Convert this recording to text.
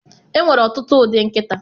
Enwere ọtụtụ ụdị nkịta